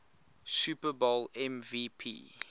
super bowl mvp